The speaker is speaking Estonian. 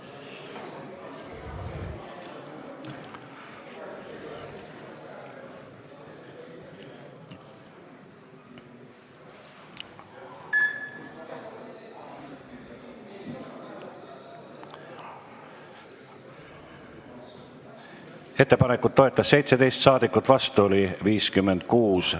Hääletustulemused Ettepanekut toetas 17 ja vastu oli 56 saadikut.